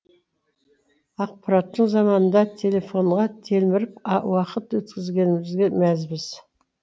ақпараттың заманында телефонға телміріп уақыт өткізгенімізге мәзбіз